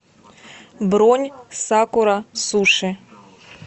бронь сакура суши